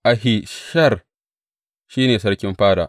Ahishar, shi ne sarkin fada.